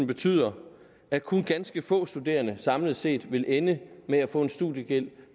betyder at kun ganske få studerende samlet set vil ende med at få en studiegæld